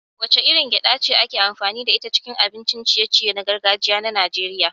Wacce irin gyaɗa ce ake amfani da ita a cikin abincin ciye-ciye na gargajiya na Najeriya?